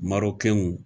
Marɔkɛnw